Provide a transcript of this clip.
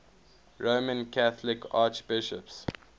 roman catholic archbishops